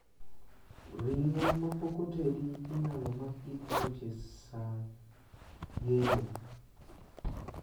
Ring'o ma pok otedi inaylo mak gi tuoche saa yeng'o.